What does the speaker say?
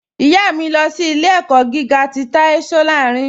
Ìyá mi, lọ sí ilẹ̀-ẹ̀kọ́ gígà tì Táí Sòláìrìn.